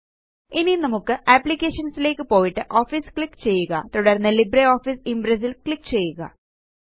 ഇനി നമുക്ക് അപ്ലിക്കേഷൻസ് ലേക്ക് പോയിട്ട് ഓഫീസ് ക്ലിക്ക് ചെയ്യുക തുടര്ന്ന് ലിബ്രിയോഫീസ് ഇംപ്രസ് ല് ക്ലിക്ക് ചെയ്യുക